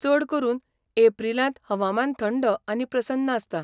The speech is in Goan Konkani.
चड करून, एप्रिलांत हवामान थंड आनी प्रसन्न आसता.